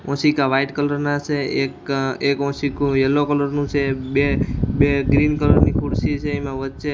ઓસીકા white colour નાં છે એક અ એક ઓસીકુ યેલ્લો કલર નું છે બે-બે ગ્રીન કલર ની ખુરશી છે એમા વચ્ચે --